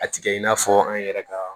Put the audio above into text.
A tigɛ in n'a fɔ an yɛrɛ ka